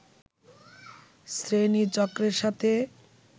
শ্রোণীচক্রের সাথে